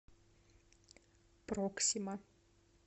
проксима